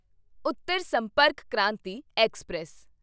Uttar Sampark Kranti express